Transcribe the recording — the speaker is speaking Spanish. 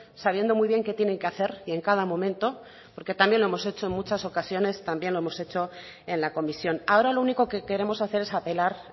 sabiendo muy bien qué tienen que hacer y en cada momento porque también lo hemos hecho en muchas ocasiones también lo hemos hecho en la comisión ahora lo único que queremos hacer es apelar